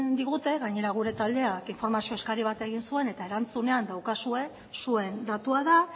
digute gainera gure taldeak informazio eskari bat egin zuen eta erantzunean daukazue zuen datua da